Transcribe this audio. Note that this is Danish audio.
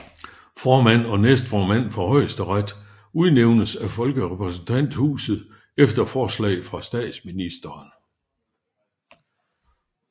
Formand og næstformand for højesteret udnævnes af folkerepræsentanthuset efter forslag fra statsministeren